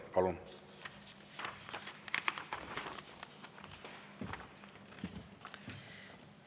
Palun!